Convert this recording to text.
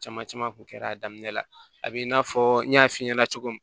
Caman caman kun kɛra a daminɛ la a b'i n'a fɔ n y'a f'i ɲɛna cogo min